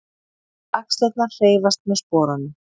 Og axlirnar hreyfast með sporunum.